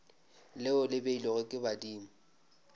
leo le beilwego ke badimo